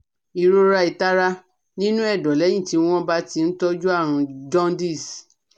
Ìrora, itara nínú ẹ̀dọ̀ lẹ́yìn tí wọ́n bá ti ń tọ́jú àrùn jaundice